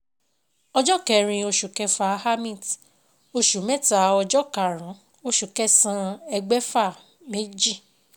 Ọjọ́ kẹrin oṣù kẹfà Amit oṣù mẹ́ta ọjọ́ karùn-ún oṣù kẹsàn-án ẹgbẹ̀fà méjì.